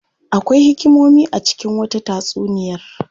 Akwai hikimomi a cikin wasu tatsuniyar.